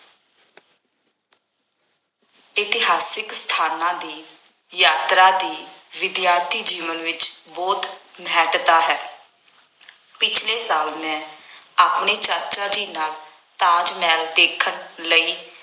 ਇਤਿਹਾਸਕ ਸਥਾਨਾਂ ਦੀ ਯਾਤਰਾ ਦੀ ਵਿਦਿਆਰਥੀ ਜੀਵਨ ਵਿੱਚ ਬਹੁਤ ਮਹੱਤਤਾ ਹੈ। ਪਿਛ਼ਲੇ ਸਾਲ ਮੈਂ ਆਪਣੇ ਚਾਚਾ ਜੀ ਨਾਲ ਤਾਜ ਮਹਿਲ ਦੇਖਣ ਲਈ